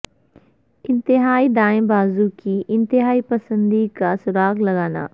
انتہائی دائیں بازو کی انتہا پسندی کا سراغ لگانا